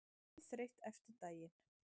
Dauðþreytt eftir daginn.